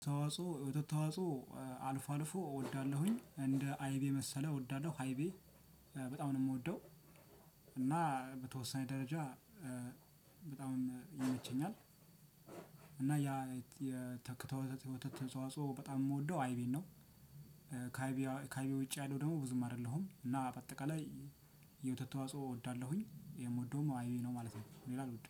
ተዋጽኦ ወተት ተዋጽኦ አልፎ አልፎ እወዳለሁኝ እንደ አይቤ የመሰለ እወዳለሁ ሃይቤ በጣም ነው የምወደው። እና በተወሰነ ደረጃ በጣም ይመቸኛል። እና ያ የተክተው ወተት ተዋጽኦ በጣም የምወደው አይቤን ነው። ካይቤ ውጪ ያለው ደግሞ ብዙም አይደለሁም እና በአጠቃላይ የወተት ተዋጽኦ እወዳለሁኝ የምወደውም አይቤ ነው ማለት ነው። ሌላ አልወድም